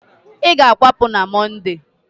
ị ga-akwapụ n' Mọnde!